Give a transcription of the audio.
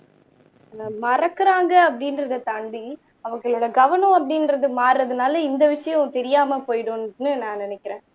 மறக்குறாங்க அப்படின்றதை தாண்டி அவங்களோட கவனம் அப்படின்றது மாறுறதுனால இந்த விஷயம் தெரியாம போயிடுன்னு நான் நினைக்கிறேன்